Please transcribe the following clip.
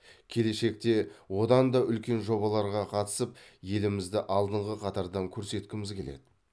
келешекте одан да үлкен жобаларға қатысып елімізді алдыңғы қатардан көрсеткіміз келеді